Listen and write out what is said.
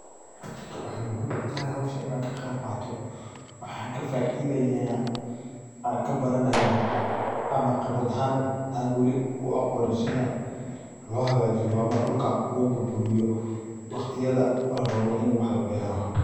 Waxa muxiim utaxay xowshaan ina kagebqato, waxan kafaidaya, waxan kabaranaya ama qibrad axan an wali u a goni wali sidha lohagajiyo ama dulka loburburiyo wagtiyada larawo ini wax labero.